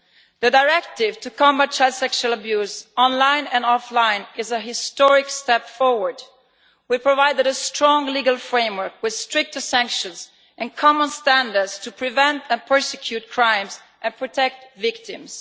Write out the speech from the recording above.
The directive to combat child sexual abuse, online and offline is a historic step forward. We have provided a strong legal framework with stricter sanctions and common standards to prevent and prosecute crimes and protect victims.